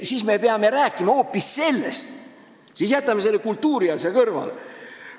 Ja siis me peame rääkima hoopis sellest ja jätma selle kultuuriasja kõrvale.